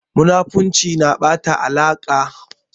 Munafurci na ɓata alaƙa.